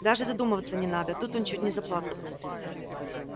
даже задумываться не надо тут он чуть не заплакал